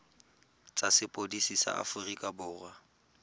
tsa sepodisi sa aforika borwa